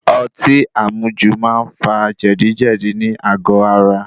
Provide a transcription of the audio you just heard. Ọtí àmujò máa ń fa jẹ̀díjẹ̀dí nì àgó ara.